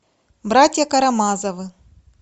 братья карамазовы